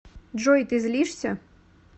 джой ты злишься